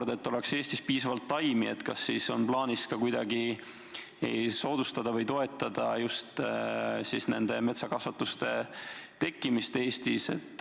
Ja veel: et Eestis oleks piisavalt taimi, kas on plaanis kuidagi soodustada või toetada metsakasvanduste tekkimist Eestis?